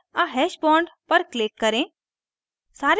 add a hash bond पर click करें